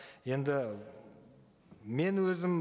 енді мен өзім